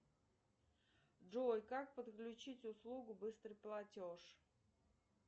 джой как подключить услугу быстрый платеж